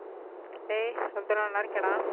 டேய் எப்டிரா நல்லா இருக்கியாடா